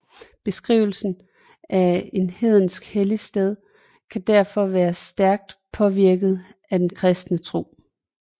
Beskrivelsen af et hedensk helligsted kan derfor være stærkt påvirket af den kristne tro